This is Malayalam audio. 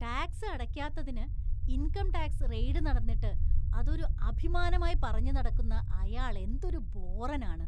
ടാക്‌സ് അടയ്ക്കാത്തതിന് ഇന്‍കം ടാക്‌സ് റെയ്ഡ് നടന്നിട്ട് അതൊരു അഭിമാനമായി പറഞ്ഞുനടക്കുന്ന അയാളെന്തൊരു ബോറനാണ്.